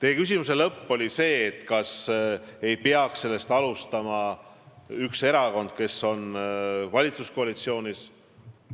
Lõpuks te küsisite, kas ei peaks esimese sammu tegema üks erakond, kes on valitsuskoalitsioonis.